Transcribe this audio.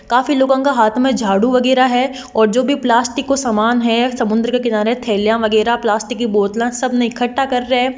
काफी लोगों के हाथ मैं झाडू वगेरा है और जो भी प्लास्टिक को समान है समंदर के किनारे थेलिया वगेरा प्लास्टिक की बोतला सबने इक्कटा कर रिया है।